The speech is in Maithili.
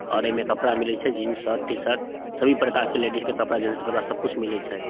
और ऐमे कपड़ा मिले छै जीन्स और टी-शर्ट सभी प्रकार के लेडिज के कपड़ा जेंट्स के कपड़ा सब कुछ मिले छै।